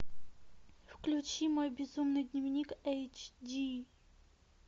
включи мой безумный дневник эйч ди